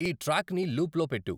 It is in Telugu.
ఈ ట్రాక్ని లూప్లో పెట్టు